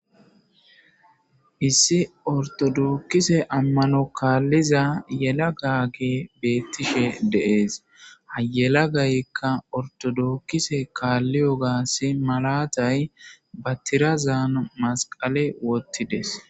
issi ortodokise ammano kaalliza yelagay beettishe deees hayelagaykka ortodokise kaalliyo gaas malatay ba tirazaan masqale wottides.